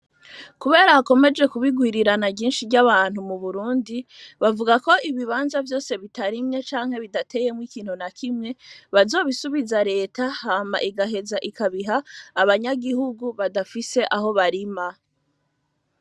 Kubera akomeje kubigwirirana ginshi ry'abantu mu burundi bavuga ko ibibanza vyose bitarimye canke bidateyemwo ikintu na kimwe bazobisubiza leta hama igaheza ikabiha abanyagihugu badafise aho barima.